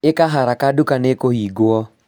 ĩka haraka nduka nĩĩkũhingwo